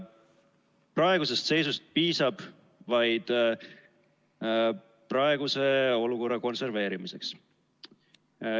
Praegusest seisust piisab vaid praeguse olukorra konserveerimiseks.